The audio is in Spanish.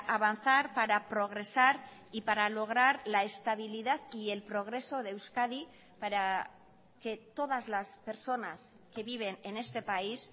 avanzar para progresar y para lograr la estabilidad y el progreso de euskadi para que todas las personas que viven en este país